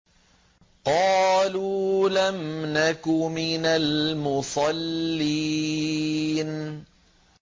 قَالُوا لَمْ نَكُ مِنَ الْمُصَلِّينَ